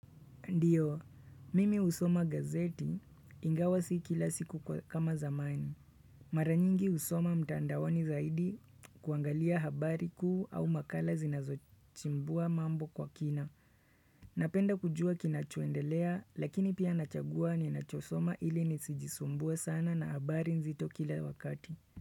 Ndio, mimi husoma gazeti ingawa si kila siku kama zamani. Mara nyingi husoma mtandaoni zaidi kuangalia habari kuu au makala zinazochimbua mambo kwa kina. Napenda kujua kinachoendelea lakini pia nachagua ni nachosoma ili nisijisumbua sana na habari nzito kila wakati.